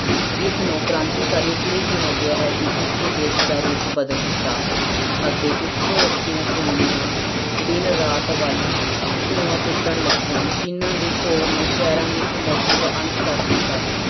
ਇਸਨੂੰ ਕ੍ਰਾਂਤੀਕਾਰੀ ਇਸ ਲਈ ਕਿਹਾ ਗਿਆ ਹੈ ਕਿਉਂਕਿ ਇਸਨੇ ਦੇਸ ਦਾ ਰੂਪ ਬਦਲ ਦਿੱਤਾ ਅਤੇ ਉੱਚੀਆਂ ਉੱਚੀਆਂ ਚਿਮਨੀਆਂ ਦਿਨ ਰਾਤ ਵੱਲ ਧੂੰਆਂ ਸੁੱਟਣ ਲੱਗੀਆਂ, ਮਸ਼ੀਨਾਂ ਦੇ ਸ਼ੋਰ ਨੇ ਸ਼ਹਿਰਾਂ ਦੀ ਖਾਮੋਸੀ ਦਾ ਅੰਤ ਕਰ ਦਿੱਤਾ।